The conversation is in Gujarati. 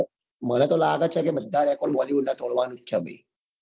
મને તો લ્લાગે જ છે કે બધા record bollywood નાં તોડવા ની જ છે ભાઈ